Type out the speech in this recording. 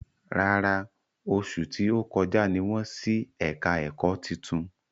Rárá, oṣù tí ó kọjá ní wọ́n ṣí ẹ̀ka ẹ̀kọ́ titun